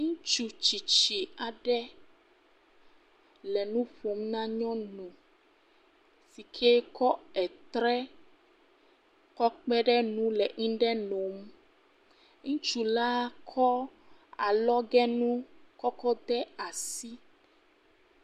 Ŋutsu tsitsi aɖe le nu ƒom na nyɔnuwo yike etre kɔ kpe ɖe nu le nuɖe nom, ŋutsu la kɔ alɔgenu kɔ kɔ de asi.